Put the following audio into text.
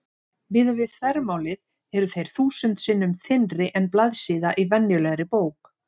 Miðað við þvermálið eru þeir þúsund sinnum þynnri en blaðsíða í venjulegri bók.